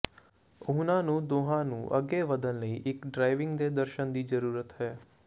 ਉਨ੍ਹਾਂ ਨੂੰ ਦੋਹਾਂ ਨੂੰ ਅੱਗੇ ਵਧਣ ਲਈ ਇੱਕ ਡ੍ਰਾਈਵਿੰਗ ਦੇ ਦਰਸ਼ਨ ਦੀ ਜ਼ਰੂਰਤ ਹੈ